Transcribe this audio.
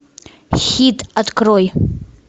хит открой